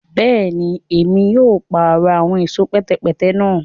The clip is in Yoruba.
Bẹẹni, Èmí o parọ awọn ẹṣọ pẹtẹpẹtẹ náà